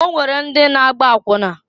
O nwere ndi na-agba akwụna.